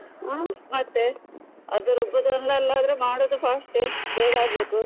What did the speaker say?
ಹ್ಮ್ ಮತ್ತೆ ಅದು ರುಬ್ಬುದು ಒಂದ್ ಅಲ್ಲಾದ್ರೂ ಅದು ಮಾಡುದು fast ಎ ಬೇಗ ಆಗ್ಬೇಕು.